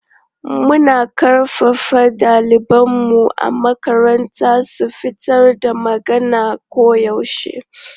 Muna ƙarfafa ɗalibanmu a makaranta su fitar da magana koyaushe.